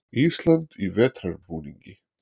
Ísland í vetrarbúningi.